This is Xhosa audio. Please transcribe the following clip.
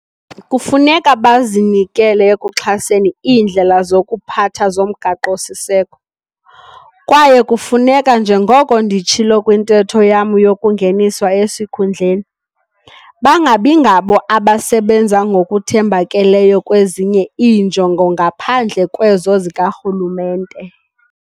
Kufuneka bazinikele ekuxhaseni iindlela zokuziphatha zoMgaqo-siseko, kwaye kufuneka, njengoko nditshilo kwintetho yam yokungeniswa esikhundleni, "bangabingabo abasebenza ngokuthembakeleyo kwezinye iinjongo ngaphandle kwezo zikarhulumente".